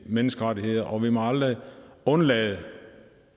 menneskerettighederne og vi må aldrig undlade